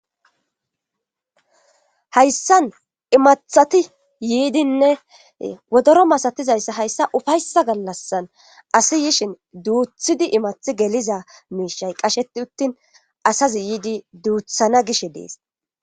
Hayssan imathati yiidinne wodoro masatizayssa hayssa ufayssa gallassan asi yishin duuthidi imathi geliza miishay qasheti uttin asazi yiidi duuthana gish dees